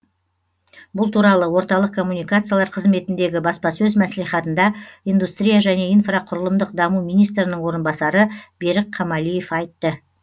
бұл туралы орталық коммуникациялар қызметіндегі баспасөз мәслихатында индустрия және инфрақұрылымдық даму министрінің орынбасары берік камалиев айтты